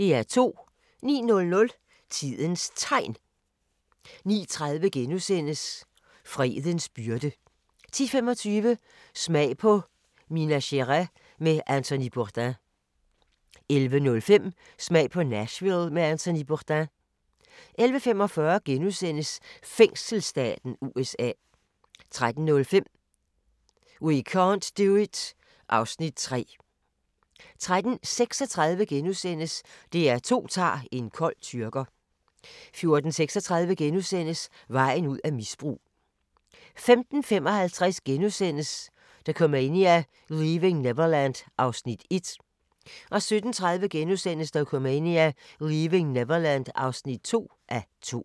09:00: Tidens Tegn 09:30: Fredens byrde * 10:25: Smag på Minas Gerais med Anthony Bourdain 11:05: Smag på Nashville med Anthony Bourdain 11:45: Fængselsstaten USA * 13:05: We can't do it (Afs. 3) 13:36: DR2 tager en kold tyrker * 14:36: Vejen ud af misbrug * 15:55: Dokumania: Leaving Neverland (1:2)* 17:30: Dokumania: Leaving Neverland (2:2)*